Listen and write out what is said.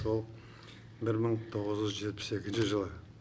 ол бір мың тоғыз жүз жетпіс екінші жылы